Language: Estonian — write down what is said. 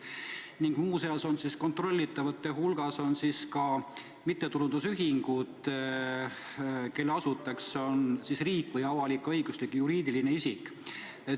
Ning muude seas on kontrollitavate hulgas ka mittetulundusühingud, kelle asutajaks on riik või avalik-õiguslik juriidiline isik.